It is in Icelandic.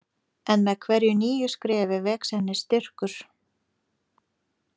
En með hverju nýju skrefi vex henni styrkur.